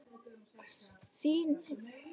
Það hýrnar yfir Klöru.